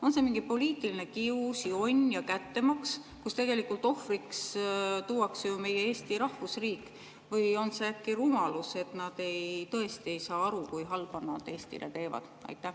On see mingi poliitiline kius, jonn ja kättemaks, millele tegelikult tuuakse ohvriks ju meie Eesti rahvusriik, või on see äkki rumalus ja nad tõesti ei saa aru, kui palju halba nad Eestile teevad?